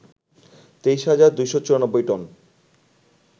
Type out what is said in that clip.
২৩ হাজার ২৯৪ টন